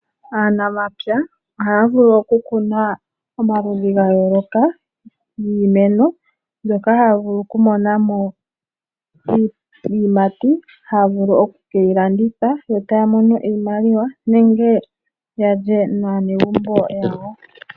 Aanamapya ohaya vulu oku kuna omaludhi ga yooloka giimeno mbyoka haya vulu oku mona mo iiyimati, haya vulu oku keyi landitha yo taya mono iimaliwa nenge ya lye naanegumbo yawo.